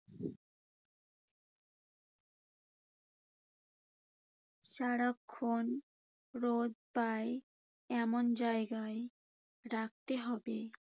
সারাক্ষণ রোদ পায় এমন জায়গায় রাখতে হবে।